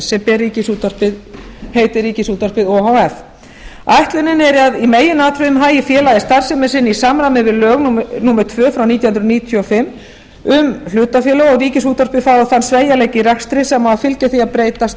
sem ber heitið ríkisútvarpið o h f ætlunin er að í meginatriðum hagi félagið starfsemi sinni í samræmi við lög númer tvö frá nítján hundruð níutíu og fimm um hlutafélög og ríkisútvarpið fái þann sveigjanleika í rekstri sem fylgir því að breytast úr